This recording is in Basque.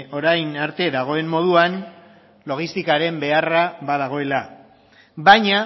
orain arte dagoen moduan logistikaren beharra badagoela baina